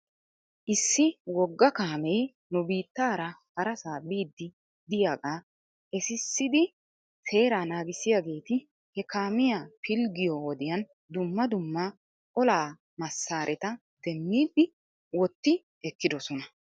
Issi wogga kaamee nu biitaara harasaa biiddi diyaagaa esissidi seeraa naagissiyaageeti he kaamiyaa pilggiyoo wodiyan dumma dumma olaa masaareta demmidi wotti ekkidosona.